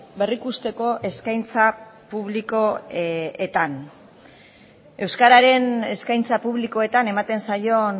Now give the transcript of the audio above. berrikusteko eskaintza publikoetan euskararen eskaintza publikoetan ematen zaion